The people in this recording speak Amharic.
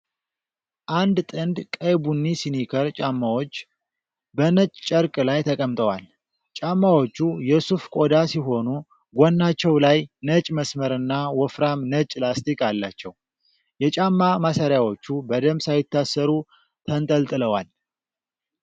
አንድ ጥንድ ቀይ ቡኒ ስኒከር ጫማዎች በነጭ ጨርቅ ላይ ተቀምጠዋል። ጫማዎቹ የሱፍ ቆዳ ሲሆኑ፣ ጎናቸው ላይ ነጭ መስመርና ወፍራም ነጭ ላስቲክ አላቸው። የጫማ ማሰሪያዎቹ በደንብ ሳይታሰሩ ተንጠልጥለዋል።